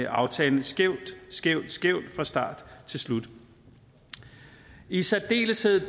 aftalen skævt skævt skævt fra start til slut i særdeleshed